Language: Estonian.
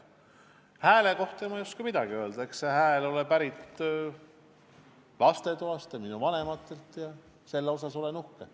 Oma hääle kohta ma ei oska midagi öelda, eks see ole pärit minu vanematelt ja lastetoast, selle üle olen uhke.